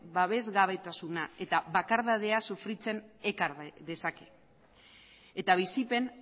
babesgabetasuna eta bakardadea sufritzen ekar dezake eta bizipen